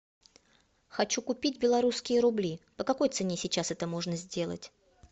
хочу купить белорусские рубли по какой цене сейчас это можно сделать